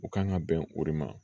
U kan ka bɛn o de ma